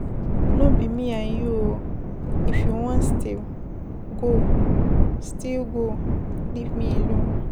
No be me and you oo. If you wan steal go, steal go leave me alone.